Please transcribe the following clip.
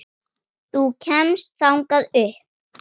Þú kemst þangað upp.